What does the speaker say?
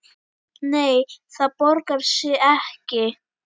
Nei, það borgar sig ekki.